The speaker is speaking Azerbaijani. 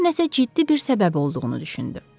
bunun nəsə ciddi bir səbəbi olduğunu düşündü.